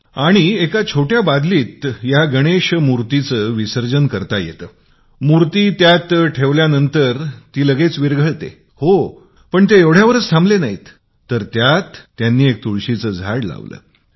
त्यानंतर एक छोट्या बादलीत गणेश विसर्जन होते तर ते त्यात ठेवल्यावर लगेच मिसळुन जात असते आणि ते एवढ्यावरच थांबले नाहीत तर त्यात एक तुळशीचे झाड लावले